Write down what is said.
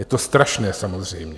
Je to strašné, samozřejmě.